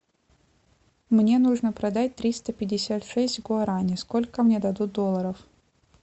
мне нужно продать триста пятьдесят шесть гуарани сколько мне дадут доллоров